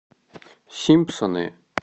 симпсоны